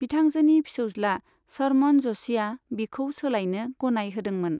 बिथांजोनि फिसौज्ला शरमन जशीआ बिखौ सोलाइनो गनाय होदोंमोन।